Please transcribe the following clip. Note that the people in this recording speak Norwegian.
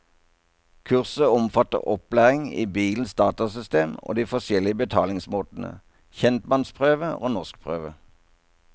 Kurset omfatter opplæring i bilens datasystem og de forskjellige betalingsmåtene, kjentmannsprøve og norskprøve.